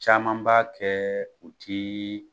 Caman b'a kɛ u tɛ